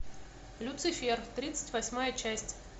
люцифер тридцать восьмая часть